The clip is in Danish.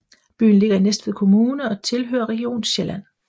Byen ligger i Næstved Kommune og tilhører Region Sjælland